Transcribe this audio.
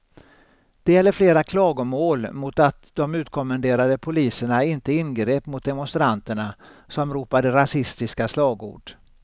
Det gäller flera klagomål mot att de utkommenderade poliserna inte ingrep mot demonstranterna som ropade rasistiska slagord.